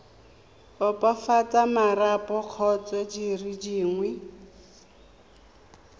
opafatsa marapo kgotsa dire dingwe